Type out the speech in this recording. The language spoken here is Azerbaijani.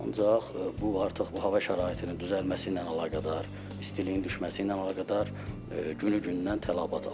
Ancaq bu artıq bu hava şəraitinin düzəlməsi ilə əlaqədar, istiliyin düşməsi ilə əlaqədar günü-gündən tələbat artır.